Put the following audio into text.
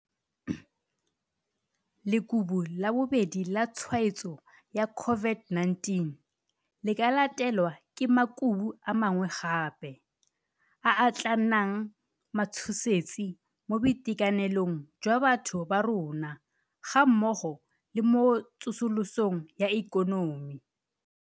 Lekhubu la bobedi la tshwaetso ya COVID-19 le ka latelwa ke makhubu a mangwe gape, a a tla nnang matshosetsi mo boitekanelong jwa batho ba rona gammogo le mo tsosolosong ya ikonomi.